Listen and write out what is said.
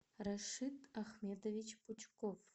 рашид ахметович пучков